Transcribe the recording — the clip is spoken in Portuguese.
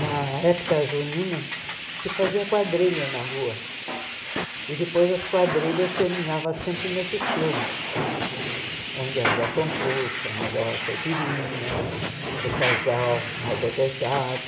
Na época junina, se fazia quadrilha na rua, e depois as quadrilhas terminavam sempre nesses clubes, onde havia concurso, a melhor caipirinha, o casal mais ajeitado.